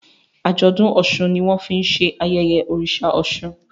Ajọdun òsùn ní wón fín ṣe ayẹyẹ oriṣa òsun.